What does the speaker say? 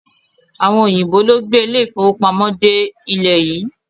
Àwọn òyìnbó ló gbé ilé-ìfówopamọ́ dé ilẹ̀ yìí.